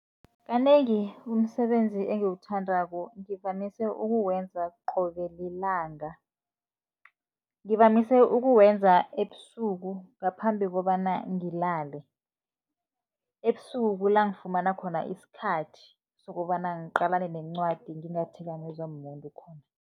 Kanengi umsebenzi engiwuthandako ngivamise ukuwenza qobe lilanga. Ngivamise ukuwenza ebusuku ngaphambi kobana ngilale. Ebusuku kula ngifumana khona isikhathi sokobana ngiqalane nencwadi, ngingathikamezwa mumuntu khona.